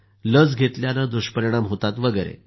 लस घेतल्यानं दुष्परिणाम होतात वगैरे